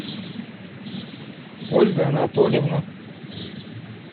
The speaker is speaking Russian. ольга анатольевна